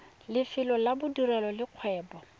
lefelo la bodirelo le kgwebo